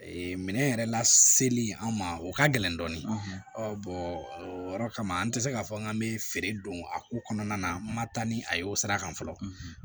Ee minɛn yɛrɛ la seli an ma o ka gɛlɛn dɔɔni o yɔrɔ kama an tɛ se k'a fɔ k'an bɛ feere don a ko kɔnɔna na n ma taa ni a ye o sira kan fɔlɔ